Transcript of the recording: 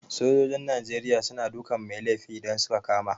Sojojin Nigeria suna dukan mai laifi idan suka kama